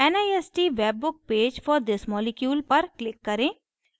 nist webbook page for this molecule पर click करें